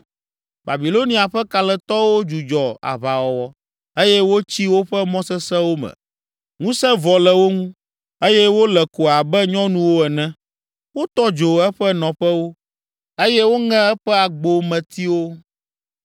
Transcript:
Babilonia ƒe kalẽtɔwo dzudzɔ aʋawɔwɔ eye wotsi woƒe mɔ sesẽwo me. Ŋusẽ vɔ le wo ŋu, eye wole ko abe nyɔnuwo ene. Wotɔ dzo eƒe nɔƒewo eye woŋe eƒe agbometiwo.